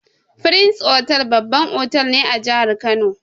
Firins otal babban otal ne a jahar kano